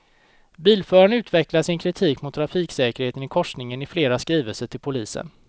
Bilföraren utvecklar sin kritik mot trafiksäkerheten i korsningen i flera skrivelser till polisen.